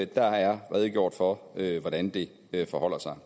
der er redegjort for hvordan det forholder sig